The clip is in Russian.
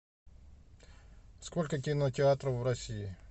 сколько кинотеатров в россии